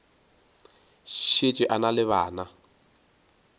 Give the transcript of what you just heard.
šetše a na le bana